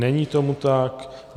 Není tomu tak.